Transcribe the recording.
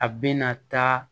A bɛna taa